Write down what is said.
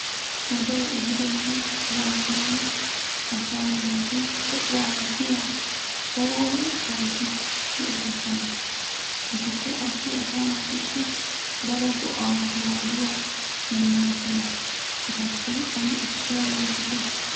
Wodee ehiidonne zammaana asaa naatu de'uwara biya oorattabati de'oosona. Etikka qassi asaa naatussi daro go'aa, maaduwa immoosona. Etappe ane issuwa yootite.